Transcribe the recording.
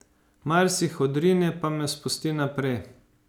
Mars jih odrine pa me spusti naprej.